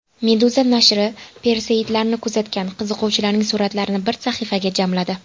Meduza nashri Perseidlarni kuzatgan qiziquvchilarning suratlarini bir sahifaga jamladi .